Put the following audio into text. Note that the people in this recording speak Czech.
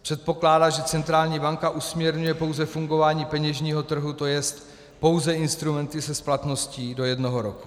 Předpokládá, že centrální banka usměrňuje pouze fungování peněžního trhu, to je pouze instrumenty se splatností do jednoho roku.